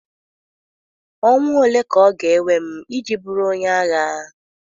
Ọnwa ole ka ọ ga-ewe m iji bụrụ onye agha?